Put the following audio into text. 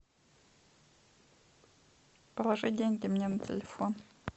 положи деньги мне на телефон